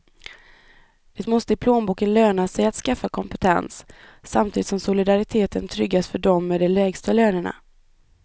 Det måste i plånboken löna sig att skaffa kompetens, samtidigt som solidariteten tryggas för dem med de lägsta lönerna.